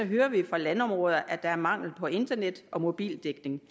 hører vi fra landområder at der er mangel på internet og mobildækning